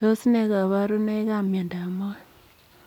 Tos nee kabarunoik ap miondoop moet?